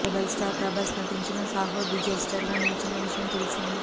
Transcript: rebel star Prabhas నటించిన Saaho disaster గా నిలిచిన విషయం తెల్సిందే